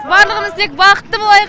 барлығымыз тек бақытты болайық